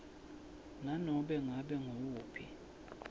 nanobe ngabe nguwuphi